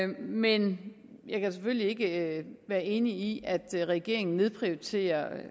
men jeg kan selvfølgelig ikke være enig i at regeringen nedprioriterer